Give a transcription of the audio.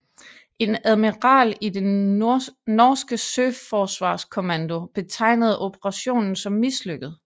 En admiral i den norske søforsvarskommando betegnede operationen som mislykket